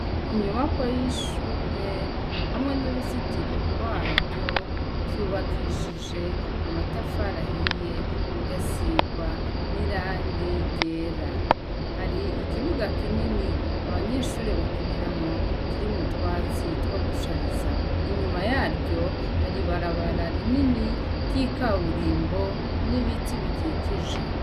Inyubakwa yishure hamwe nuruzitiro rwaryo vyubakishijwe amatafari ahiye bigasirwa nirangi ryera hari ikibuga kinini abanyeshure bakiniramwo kirimwo utwatsi twogushariza inyuma yaryo hari ibabara rinini ryikaburimbo nibiti bikikijwe